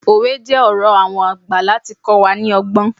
Òwe jẹ́ ọ̀rọ̀ àwọn àgbà láti kọ́ wa ní ọgbọ́n.